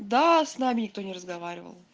да с нами никто не разговаривал